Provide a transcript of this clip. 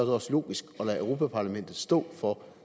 også logisk at lade europa parlamentet stå for